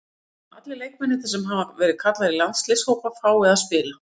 Ég vona að allir leikmennirnir sem hafa verið kallaðir í landsliðshópa fái að spila.